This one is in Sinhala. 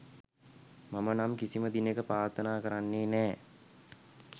මම නම් කිසිම දිනක ප්‍රාර්ථනා කරන්නේ නෑ